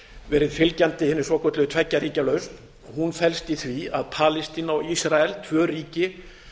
verið fylgjandi hinni svokölluðu tveggja ríkja lausn og hún felst í því að palestína og ísrael tvö ríki